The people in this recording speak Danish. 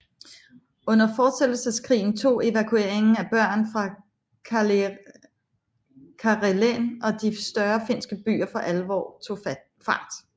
Under Fortsættelseskrigen tog evakueringen af børn fra Karelen og de større finske byer for alvor tog fart